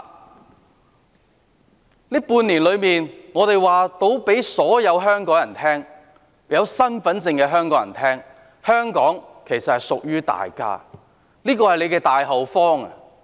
這半年間，我們可以告訴所有持有香港身份證的香港人，香港其實是屬於大家的，是大家的大後方。